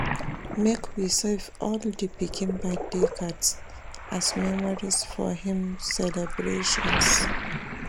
Make we save all di pikin birthday cards, as memories of im celebrations.